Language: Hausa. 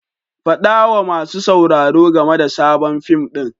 Faɗa wa masu sauraro game da sabon fim ɗin.